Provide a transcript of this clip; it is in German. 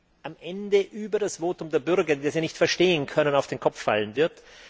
das am Ende über das Votum der Bürger, die das ja nicht verstehen können, auf den Kopf fallen wird.